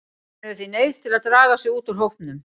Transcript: Hann hefur því neyðst til að draga sig út úr hópnum.